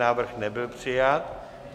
Návrh nebyl přijat.